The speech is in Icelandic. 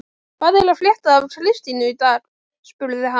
Hvað er að frétta af Kristínu í dag? spurði hann.